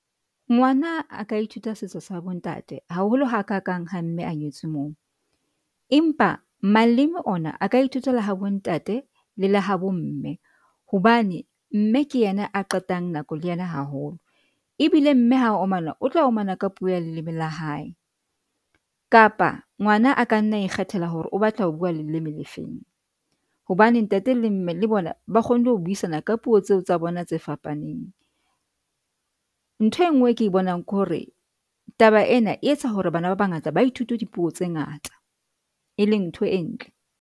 Ngwana a ka ithuta setso sa bontate haholo ha ka kang ha mme a nyetswe moo, empa malema ona a ka ithuta le ha bontate le la ha bomme, hobane mme ke ena a qetang nako le ena haholo. Ebile mme ha o mana otlo o mana ka puo ya leleme la hae kapa ngwana a ka nna ikgethela hore o batla ho bua leleme le feng hobane ntate le mme le bona ba kgonne ho buisana ka puo tseo tsa bona tse fapaneng. Ntho e ngwe ke bonang ke hore taba ena e etsa hore bana ba bangata ba ithuta dipuo tse ngata e leng ntho e ntle.